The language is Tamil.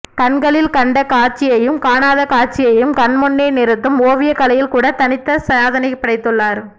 கண்களில் கண்ட காட்சியையும் காணாத காட்சியையும் கண்முன்னே நிருத்தும் ஓவியக்கலையில் கூட தனித்த சாதனை படைத்துள்ளனர்